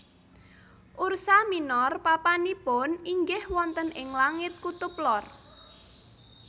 Ursa minor papanipun inggih wonten ing langit kutub lor